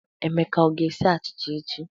Emeka ọ ga-esi achịcha echi?